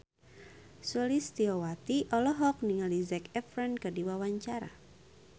Sulistyowati olohok ningali Zac Efron keur diwawancara